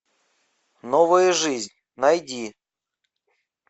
новая жизнь найди